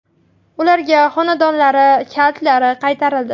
Ularga xonadonlari kalitlari qaytarildi.